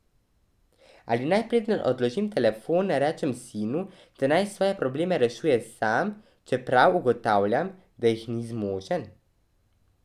Ali naj, preden odložim telefon, rečem sinu, da naj svoje probleme rešuje sam, čeprav ugotavljam, da jih ni zmožen.